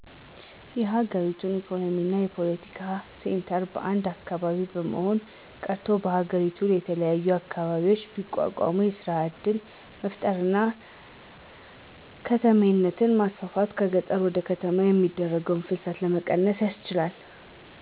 የሀገረቱ የኢኮኖሚም የፓለቲካ ሴንተር አንድ አካባቢ መሆኑ ቀርቶ በሀገሪቱ የተለያዩ አካባቢዎች ቢቋቋሙ የስራ እድል በመፍጠር እና ከተሜነትን በማስፋት ከገጠር ወደ ከተማ የሚደረገውን ፍልሰት መቀነስ ይቻላል።